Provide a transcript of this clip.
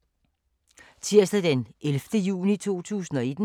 Tirsdag d. 11. juni 2019